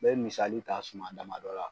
N bɛ misali ta suma dama dɔ la.